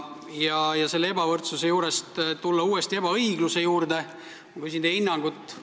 Tulen selle ebavõrdsuse juurest uuesti ebaõigluse juurde ja küsin teie hinnangut.